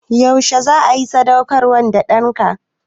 Yaushe za a yi sadaukarwar da ɗanka?